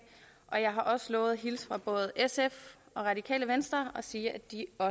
har også lovet at hilse fra både sf og radikale venstre og sige